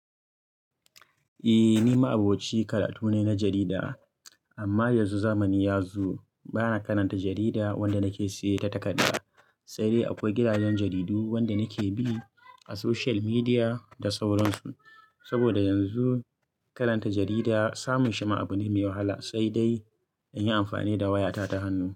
Eh, ni ma'aboci karatu ne na jarida. Amma yanzu zamani ya zo, bana karanta jarida wanda nake siya ta takarda, sai dai akwai gidajen jaridu wanda nake bi a social media da sauransu. Saboda yanzu karanta jarida samun shi ma'abune mai wahala, sai dai in yi amfani da wayata ta hannu.